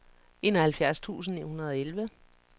enoghalvfjerds tusind ni hundrede og elleve